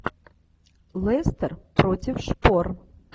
лестер против шпор